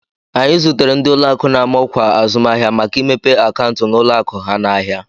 Anyị zụtere ndị ụlọakụ na-ama ọkwa azụmahịa maka imepe akaụntụ n'ụlọakụ ha n'ahịa